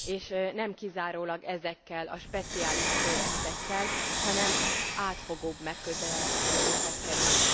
És nem kizárólag ezekkel a speciális projektekkel, hanem átfogóbb megközelítésekkel is.